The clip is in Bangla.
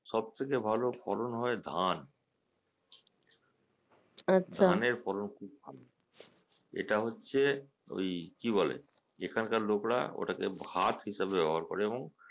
সবথেকে ভালো ফলন হয় ধান, ধানের ফলন খুব ভালো, এটা হচ্ছে ঐ কি বলে এখানকার লোকরা ওটাকে ভাত হিসাবে ব্যবহার করে এবং